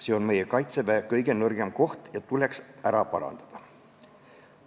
See on meie Kaitseväe kõige nõrgem koht, mis tuleks ära parandada.